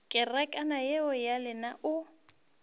kerekana yeo ya lena o